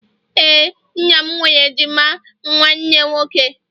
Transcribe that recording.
ee, nna m nwere ejima nwanne nwoke